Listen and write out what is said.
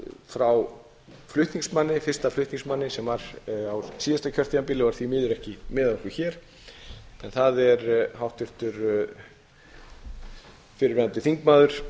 frá fyrsta flutningsmanni sem var á síðasta kjörtímabili og er því miður ekki með okkur hér en það er háttvirtur fyrrverandi þingmaður